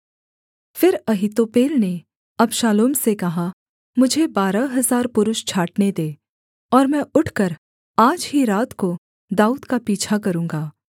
फिर अहीतोपेल ने अबशालोम से कहा मुझे बारह हजार पुरुष छाँटने दे और मैं उठकर आज ही रात को दाऊद का पीछा करूँगा